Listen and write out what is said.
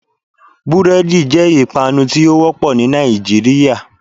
Búrédì jé ìpanu tí ó wópò ní Nàìjíríà